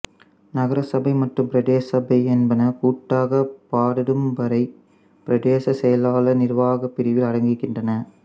நகரசபை மற்றும் பிரதேசபை என்பன கூட்டாக பாததும்பறை பிரதேச செயலார் நிர்வாகப் பிரிவில் அடங்குகின்றன